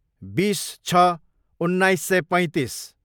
बिस छ उन्नाइस सय पैँतिस